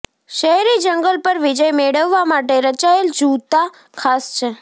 શહેરી જંગલ પર વિજય મેળવવા માટે રચાયેલ જૂતા ખાસ છે